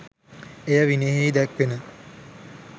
එය විනයෙහි දැක්වෙන